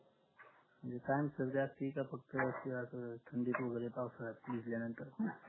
म्हणजे कायमची सर्दी असती का फक्त असं की थंडीत वैगेरे किंवा पावसात भिजल्यानंतर